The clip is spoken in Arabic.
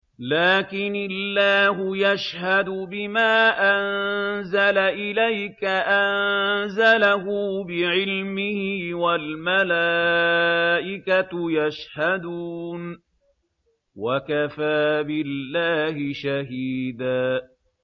لَّٰكِنِ اللَّهُ يَشْهَدُ بِمَا أَنزَلَ إِلَيْكَ ۖ أَنزَلَهُ بِعِلْمِهِ ۖ وَالْمَلَائِكَةُ يَشْهَدُونَ ۚ وَكَفَىٰ بِاللَّهِ شَهِيدًا